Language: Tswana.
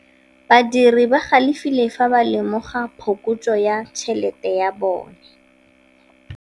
Badiri ba galefile fa ba lemoga phokotsô ya tšhelête ya bone.